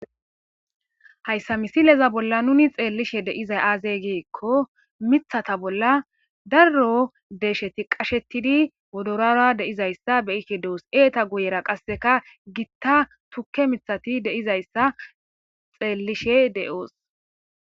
Hayssa misileza bolla nuni xeelishin de'zayi aaze giiko miththata bolla daro deeshati qashetidi wodorora de'izayssa be'ishe de'os. Izetakka guyera qasse tukke miththati de'izayssa xeelishe de'osi.